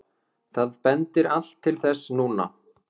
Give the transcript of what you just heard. Það bendir allt til þess núna.